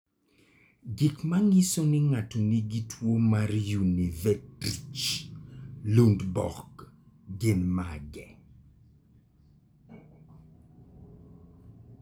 Gik manyiso ni ng'ato nigi tuwo mar Unverricht Lundborg gin mage?